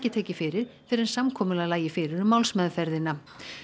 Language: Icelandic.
tekið fyrir fyrr en samkomulag lægi fyrir um málsmeðferðina